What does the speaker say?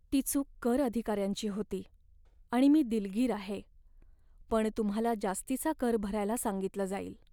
ती चूक कर अधिकाऱ्यांची होती, आणि मी दिलगीर आहे, पण तुम्हाला जास्तीचा कर भरायला सांगितलं जाईल.